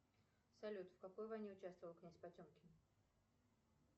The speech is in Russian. салют в какой войне участвовал князь потемкин